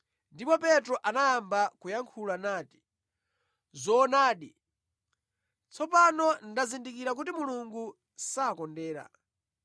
Ndipo Petro anayamba kuyankhula nati, “Zoonadi, tsopano ndazindikira kuti Mulungu sakondera.